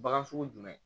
Bagan sugu jumɛn